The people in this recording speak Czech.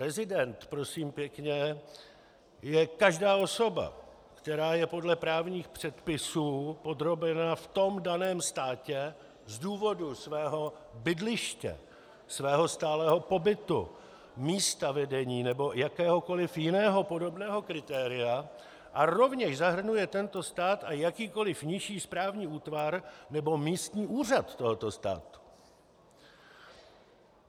Rezident, prosím pěkně, je každá osoba, která je podle právních předpisů podrobena v tom daném státě z důvodu svého bydliště, svého stálého pobytu, místa vedení nebo jakéhokoliv jiného podobného kritéria a rovněž zahrnuje tento stát a jakýkoliv nižší správní útvar nebo místní úřad tohoto státu.